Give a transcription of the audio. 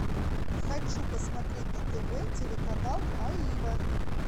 хочу посмотреть на тв телеканал аива